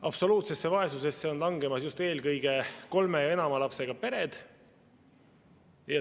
Absoluutsesse vaesusesse on langemas just eelkõige kolme ja enama lapsega pered.